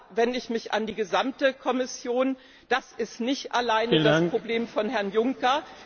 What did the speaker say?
Und da wende ich mich an die gesamte Kommission Das ist nicht alleine das Problem von Herrn Juncker.